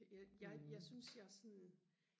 jeg jeg synes jeg sådan